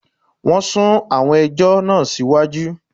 Wọn sún àwọn ẹjọ́ náà sí iwájú